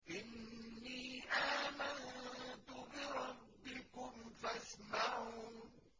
إِنِّي آمَنتُ بِرَبِّكُمْ فَاسْمَعُونِ